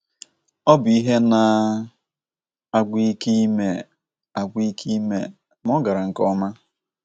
Ọ bụ ihe na - agwụ ike ime agwụ ike ime, ma o gara nke ọma.